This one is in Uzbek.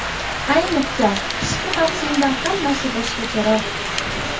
Ayniqsa qishki mavsumda hammasi boshqacharoq.